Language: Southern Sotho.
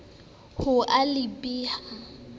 ho a le b ha